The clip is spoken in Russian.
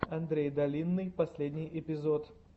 андрей долинный последний эпизод